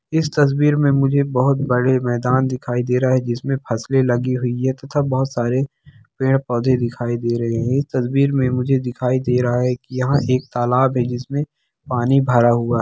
इस तस्वीर मे मझे बहुत बड़े मेदान दिखाए दे रहेहे है जिसमे फसले लगे हुई है। तथा बोहोत सरे पेड़-पौधे दिखाई देते है। इस तस्वीर में मुझे दिख रहे है यहाँ एक लालब है जिसमेंपानी भरा हुआ --